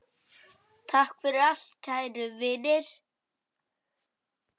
Takk fyrir allt, kæru vinir!